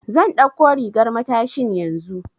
Zan ɗauko rigar matashin yanzu.